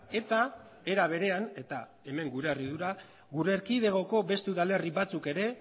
eta era berean eta hemen gure harridura gure erkidegoko beste udalerri batzuk ere